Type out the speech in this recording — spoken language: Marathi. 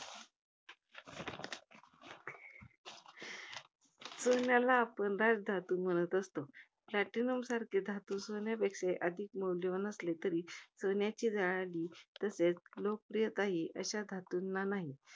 सोन्याला आपण राजधातू म्हणत असतो. Platinum सारखे धातू सोन्यापेक्षा अधिक मौल्यवान असले, तरी सोन्याची झळाळी तस्रेच लोकप्रियता ही अशा धातूंना नाही.